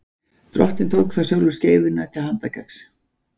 Drottinn tók þá sjálfur skeifuna til handargagns.